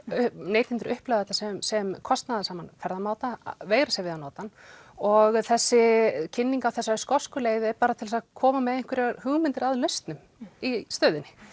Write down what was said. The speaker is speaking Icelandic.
neytendur upplifa þetta sem sem kostanaðasaman ferðamáta og veigra sér við að nota hann og þessi kynning á þessari skosku leið er bara til þess að koma með einhverjar hugmyndir að lausnum í stöðunni